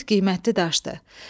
Zümrüd qiymətli daşdır.